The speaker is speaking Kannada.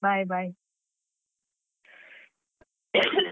Bye, bye.